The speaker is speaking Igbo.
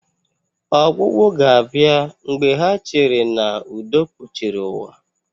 Ọgwụgwụ ga-abịa mgbe ha cheere na udo kpuchiri ụwa